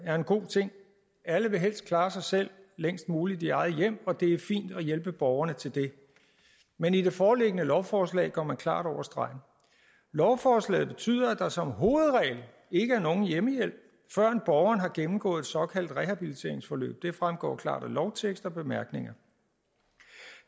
er en god ting alle vil helst klare sig selv længst muligt i eget hjem og det er fint at hjælpe borgerne til det men i det foreliggende lovforslag går man klart over stregen lovforslaget betyder at der som hovedregel ikke er nogen hjemmehjælp før borgeren har gennemgået et såkaldt rehabiliteringsforløb det fremgår klart af lovteksten og bemærkningerne